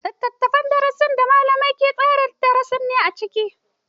Littafin darasi littafi ne da malamai ke tsara darasi a ciki.